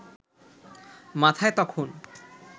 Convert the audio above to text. মাথায় তখন